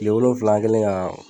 Kile wolonwula an ken la